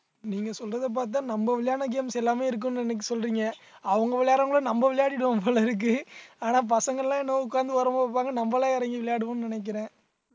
நீங்க சொல்றதே பார்த்த தான் நம்ப விளையாடின games எல்லாமே இருக்கும்னு நீங்க சொல்றீங்க அவங்க விளையாடுறவங்களை நம்ம விளையாடிடுவோம் போல இருக்கு ஆனா பசங்க எல்லாம் என்னவோ உட்கார்ந்து ஓரமா வைப்பாங்க நம்மளே இறங்கி விளையாடுவோம்ன்னு நினைக்கிறேன்